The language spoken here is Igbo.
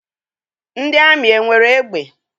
Ndị amị enwere egbe?